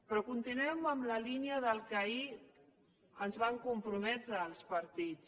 però continuem en la línia del que ahir ens vam comprometre els partits